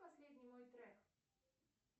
последний мой трек